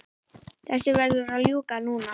Þessu verður að ljúka núna